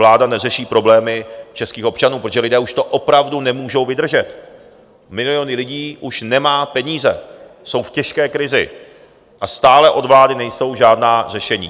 Vláda neřeší problémy českých občanů, protože lidé už to opravdu nemůžou vydržet, miliony lidí už nemají peníze, jsou v těžké krizi a stále od vlády nejsou žádná řešení.